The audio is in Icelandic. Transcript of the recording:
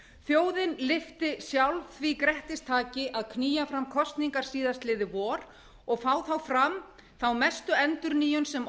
þjóðin lyfti sjálf því grettistaki að knýja fram kosningar síðastliðið vor og fá þá fram þá mestu endurnýjun sem